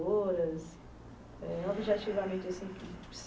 eh objetivamente, assim